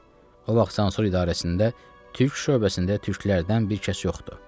O vaxt sansor idarəsində Türk şöbəsində Türklərdən bir kəs yoxdu.